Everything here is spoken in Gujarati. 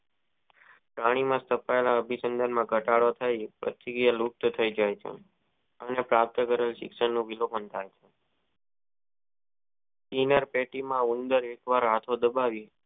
પ્રાણી માં સપાયેલો અભી ગમ ઘટાડો થઈ તે સક્રિય લુપ્ત થી જાય છે અને પ્રાપ્ત કરે શિક્ષણ નો બીઓ ભોગ બને એમાર પેટી માં ઉનર્ડ આખો દબાવી